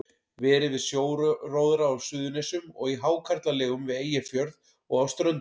Verið við sjóróðra á Suðurnesjum og í hákarlalegum við Eyjafjörð og á Ströndum.